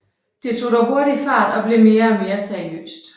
Det tog dog hurtigt fart og blev mere og mere seriøst